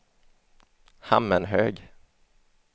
Hammenhög